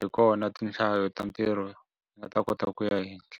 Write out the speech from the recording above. Hi kona tinhlayo ta ntirho ti nga ta kota ku ya henhla.